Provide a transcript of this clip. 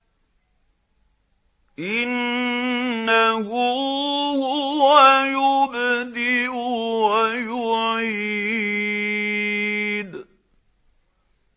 إِنَّهُ هُوَ يُبْدِئُ وَيُعِيدُ